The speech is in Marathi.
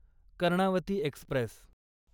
कर्णावती एक्स्प्रेस